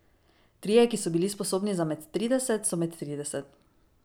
Trije, ki so bili sposobni za med trideset, so med trideset.